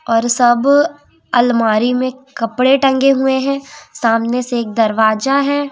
और सब अलमारी में कपड़े टंगे हुए हैं सामने से एक दरवाजा है।